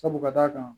Sabu ka d'a kan